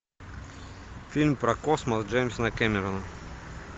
фильм про космос джеймса кэмерона